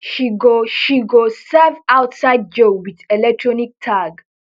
she go she go serve outside jail wit electronic tag